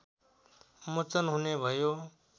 मोचन हुने भयो